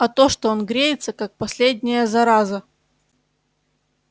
а то что он греется как последняя зараза